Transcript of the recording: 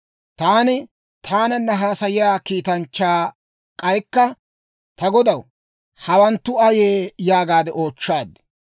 Taani taananna haasayiyaa kiitanchchaa k'aykka, «Ta godaw, hawanttu ayee?» yaagaade oochchaad.